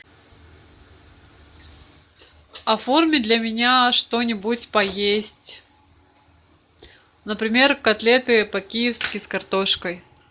оформи для меня что нибудь поесть например котлеты по киевски с картошкой